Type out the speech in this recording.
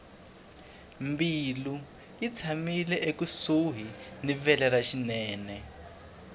mbilu yi tshamile ekusuhi ni vele ra xinene